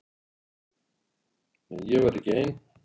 En ég var ekki ein